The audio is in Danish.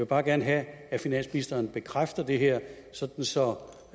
bare gerne have at finansministeren bekræfter det her